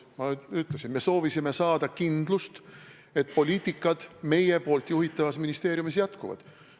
Ma ütlesin: me soovisime saada kindlust, et senised poliitikad meie juhitavas ministeeriumis jätkuvad.